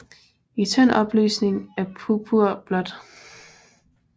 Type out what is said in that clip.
I tynd opløsning er purpur blåt